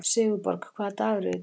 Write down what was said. Sigurborg, hvaða dagur er í dag?